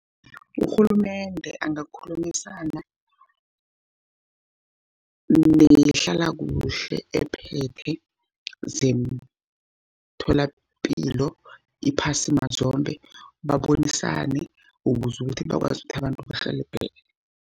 Urhulumende angakhulumisana nehlalakuhle ephethe zeemtholapilo iphasi mazombe babonisane, ukuze ukuthi bakwazi ukuthi abantu barhelebheke.